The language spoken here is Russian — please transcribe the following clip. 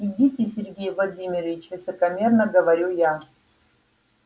идите сергей владимирович высокомерно говорю я